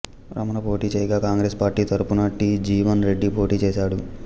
రమణ పోటీ చేయగా కాంగ్రెస్ పార్టీ తరఫున టి జీవన్ రెడ్డి పోటీచేశాడు